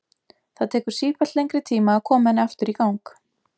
Það tekur sífellt lengri tíma að koma henni aftur í gang.